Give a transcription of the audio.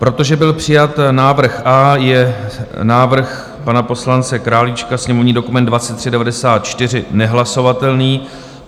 Protože byl přijat návrh A, je návrh pana poslance Králíčka, sněmovní dokument 2394, nehlasovatelný.